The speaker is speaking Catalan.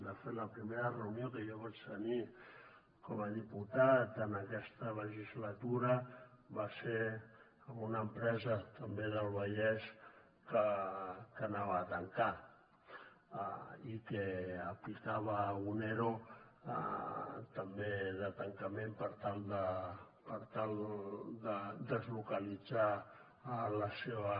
de fet la primera reunió que jo vaig tenir com a diputat en aquesta legislatura va ser amb una empresa també del vallès que tancava i que aplicava un ero també de tancament per tal de deslocalitzar la seva